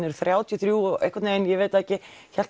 eru þrjátíu og þrjú og einhvern veginn hélt